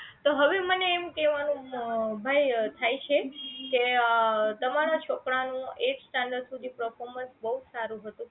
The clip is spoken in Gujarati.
તો હવે મને એમ કહેવાનું હમ ભાઈ થાય છે કે તમારા છોકરા નું eight standard સુધી performance બહુજ સારું હતું